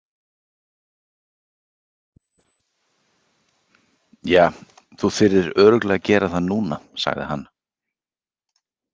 Ja, þú þyrðir örugglega að gera það núna, sagði hann.